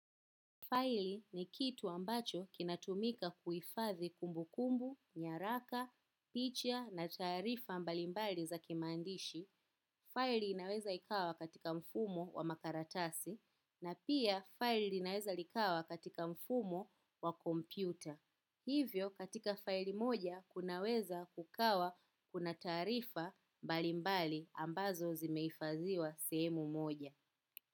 Faili ni kitu ambacho kinatumika kuifathi kumbu kumbu, nyaraka, picha na tarifa mbalimbali za kimaandishi. Faili inaweza ikawa katika mfumo wa makaratasi na pia faili inaweza likawa katika mfumo wa kompyuta. Hivyo katika faili moja kunaweza kukawa kuna tarifa mbalimbali ambazo zimeifadhiwa semu moja.